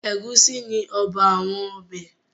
Ẹ̀gúsí ni ọba àwọn ọbẹ̀.